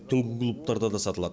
түнгі клубтарда да сатылады